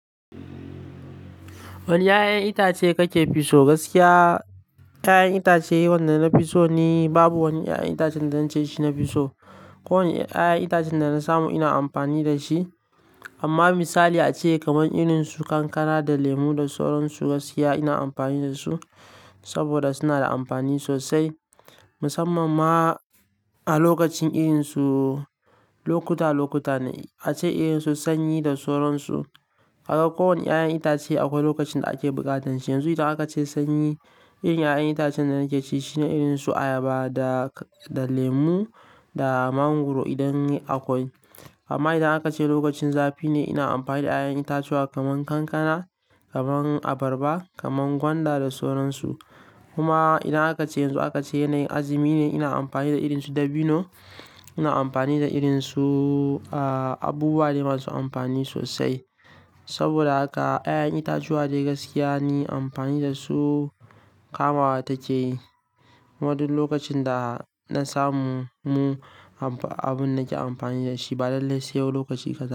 Wani 'ya'yan itace kake fi so? Gaskiya 'ya'yan itace wanda na fiso ni babu wani 'ya'yan itacen da zance shi na fisso. Ko wani 'ya'yan itacen da na samu ina amfani da shi. Amma misali ace kamar irin su kankana da lemu da soran su gaskiya ina amfani da su saboda suna da amfani sosai. Musamman ma a lokacin irin su lokuta lokuta ne ace irin su sanyi da soran su. Haka ko wani 'ya'yan itace akwai lokacin da ake buƙatan shi. Yanzu idan aka ce sanyi irin 'ya'yan itacen da nake ci shine irin su ayaba da, da lemu da mangwaro idan akwai. Amma idan aka ce lokacin zafi ne ina amfani da 'ya'yan itatuwa kamar kankana, kamar abarba, kamar gwanda da soran su. Kuma idan aka ce yanzu aka ce yanayin azumi ne ina amfani da irin su dabino, ina amfani da irin su, ah, abubuwa dai masu amfani sosai. Saboda haka 'ya'yan itatuwa dai gaskiya ni amfani da su kamawa take. Kuma duk lokacin da na samu mu abun nake amfani da shi ba lallai sau lokaci kadan.